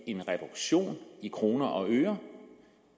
en reduktion i kroner og øre